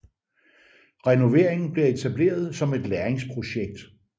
Renoveringen bliver etableret som et lærlingsprojekt